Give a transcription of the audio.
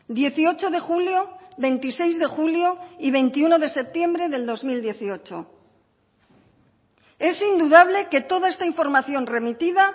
dieciocho de julio veintiséis de julio y veintiuno de septiembre del dos mil dieciocho es indudable que toda esta información remitida